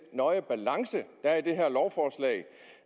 nøje balance der er i det her lovforslag